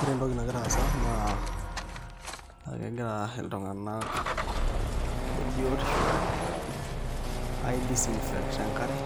Ore entoki nagira aasa naa ekegira iltung'anak lebiotisho ai dissinffect enkare